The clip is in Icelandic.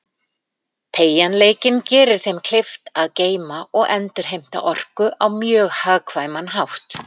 Teygjanleikinn gerir þeim kleift að geyma og endurheimta orku á mjög hagkvæman hátt.